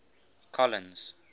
colins